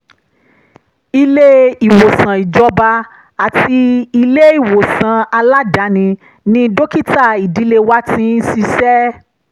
ilé-ìwòsàn ìjọba àti ilé-ìwòsàn aládàáni ni dókítà ìdílé wa ti ń ṣiṣẹ́